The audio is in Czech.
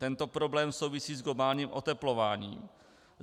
Tento problém souvisí s globálním oteplováním.